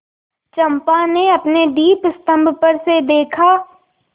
चंपा ने अपने दीपस्तंभ पर से देखा